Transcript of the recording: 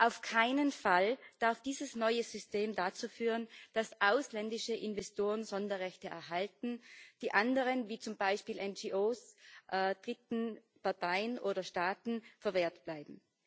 Auf keinen Fall darf dieses neue System dazu führen, dass ausländische Investoren Sonderrechte erhalten, die anderen wie zum Beispiel NGOs, Dritten, Parteien oder Staaten verwehrt bleiben.